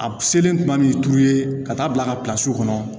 A selen kuma ni turu ye ka taa bila an ka kɔnɔ